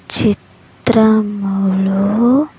చిత్రములో--